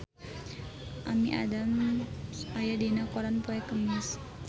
Amy Adams aya dina koran poe Kemis